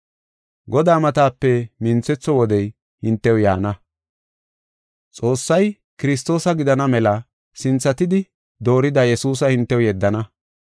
Godaa matape minthetho wodey hintew yaana. Xoossay Kiristoosa gidana mela sinthatidi doorida Yesuusa hintew yeddana.